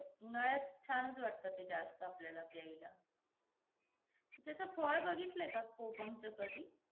आणि जर तुम्ही pizza वेळेवर नाही दिला या बनवायला वेळ लागला तर काय म्हणजे काय तिकडचे rules असतात..